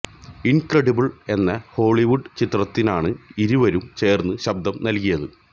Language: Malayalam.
ഇന്ക്രെഡിബിള് എന്ന ഹോളിവുഡ് ചിത്രത്തിനാണ് ഇരുവരും ചേര്ന്ന് ശബ്ദം നല്കിയത്